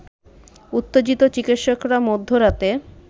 উত্তেজিত চিকিৎসকরা মধ্যরাতে